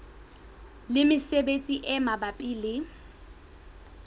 le mesebetsi e mabapi le